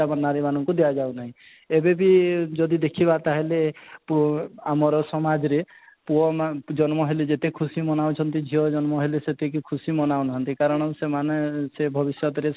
ସେ ସବୁ ନାରୀ ମାନକୁ ଦିଆଯାଉ ନାହିଁ ଏବେବି ଯଦି ଦେଖିବା ଯଦି ପୁଅ ଆମର ସମାଜରେ ପୁଅ ମାନେ ଜନ୍ମ ହେଲେ ଯେତେ ଖୁସି ମନାଉଛନ୍ତି ଝିଅ ଜନ୍ମ ହେଲେ ସେତେ ଖୁସି ମନାଉ ନାହାନ୍ତି କାରଣ ସେମାନେ ସେ ଭବିଷ୍ୟତରେ